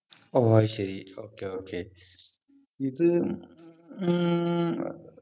ഓ അത് ശരി okay okay ഇത് ഉം ഏർ